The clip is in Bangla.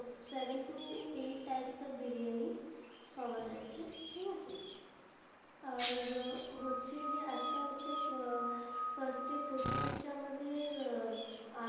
Seven to eight types of biryani পাওয়া যাচ্ছে ঠিক আছে, আর হচ্ছে যে একটা হচ্ছে আহ first এ প্রথম হচ্ছে আমাদের,